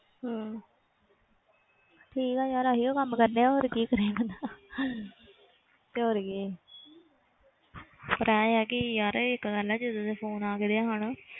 ਹਮ ਠੀਕ ਹੈ ਯਾਰ ਆਹੀਓ ਕੰਮ ਕਰਨੇ ਆਂ ਹੋਰ ਕੀ ਕਰਿਆ ਕਰਨਾ ਤੇ ਹੋਰ ਕੀ ਪਰ ਇਹ ਆ ਕਿ ਯਾਰ ਇੱਕ ਗੱਲ ਆ ਜਦੋਂ ਦੇ phone ਆ ਗਏ ਆ ਹਨਾ,